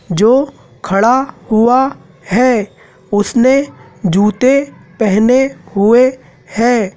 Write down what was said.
जो खड़ा हुआ है उसने जूते पहने हुए हैं।